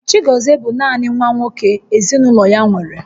Chigozie bụ naanị nwa nwoke ezinaụlọ ya nwere